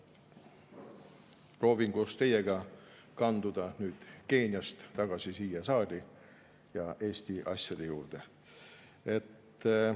Proovin koos teiega kanduda nüüd Keeniast tagasi siia saali ja Eesti asjade juurde.